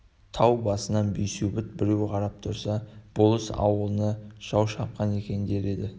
тау басынан бейсеубет біреу қарап тұрса болыс ауылына жау шапқан екен дер еді